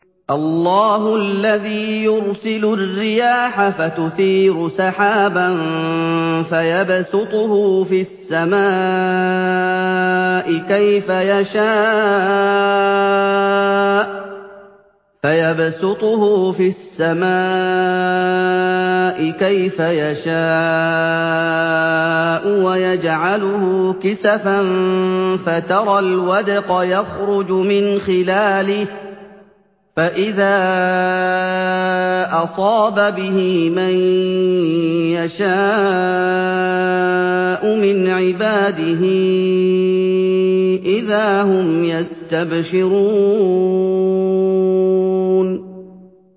اللَّهُ الَّذِي يُرْسِلُ الرِّيَاحَ فَتُثِيرُ سَحَابًا فَيَبْسُطُهُ فِي السَّمَاءِ كَيْفَ يَشَاءُ وَيَجْعَلُهُ كِسَفًا فَتَرَى الْوَدْقَ يَخْرُجُ مِنْ خِلَالِهِ ۖ فَإِذَا أَصَابَ بِهِ مَن يَشَاءُ مِنْ عِبَادِهِ إِذَا هُمْ يَسْتَبْشِرُونَ